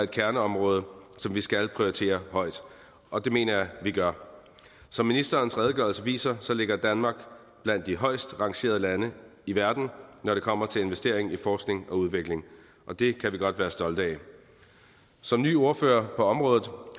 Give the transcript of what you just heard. kerneområde som vi skal prioritere højt og det mener jeg at vi gør som ministerens redegørelse viser ligger danmark blandt de højest rangerede lande i verden når det kommer til investering i forskning og udvikling det kan vi godt være stolte af som ny ordfører på området